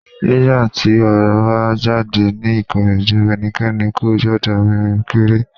Ní ìgbà tí Orò bá jáde ní Ìkòròdú, ẹnikẹ́ni kò gbúdọ̀ rìn kiri.